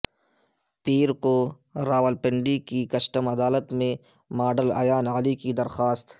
پیر کو راولپنڈی کی کسٹم عدالت میں ماڈل ایان علی کی درخواست ض